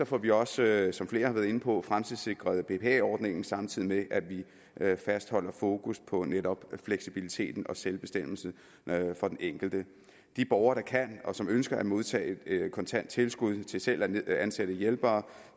får vi også som flere har været inde på fremtidssikret bpa ordningen samtidig med at vi fastholder fokus på netop fleksibiliteten og selvbestemmelsen for den enkelte de borgere der kan og som ønsker at modtage kontant tilskud til selv at ansætte hjælpere